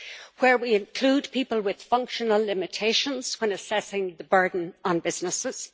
where we include people with functional limitations when assessing the burden on businesses